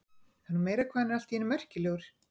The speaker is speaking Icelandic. Það er nú meira hvað hann er allt í einu merkilegur.